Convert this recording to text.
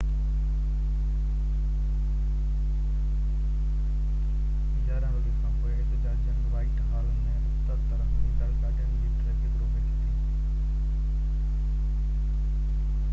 11:00 وڳي کانپوءِ احتجاجين وائيٽ حال ۾ اتر طرف ويندڙ گاڏين جي ٽرئفڪ روڪي ڇڏي